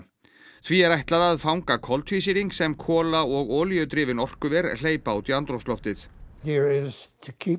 því er ætlað að fanga koltvísýring sem kola og olíudrifin orkuver hleypa út í andrúmsloftið